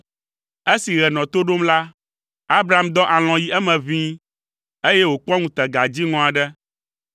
Esi ɣe nɔ to ɖom la, Abram dɔ alɔ̃ yi eme ʋĩi, eye wòkpɔ ŋutega dziŋɔ aɖe.